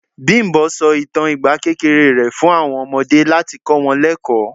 Bimbo sọ ìtàn ìgbà kékeré rẹ̀ fún àwọn ọmọdé láti kọ wọn lekoo.